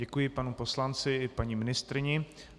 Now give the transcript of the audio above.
Děkuji panu poslanci i paní ministryni.